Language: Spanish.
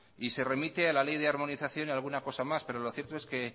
y se remite a la ley de armonización y a alguna cosa más pero lo cierto es que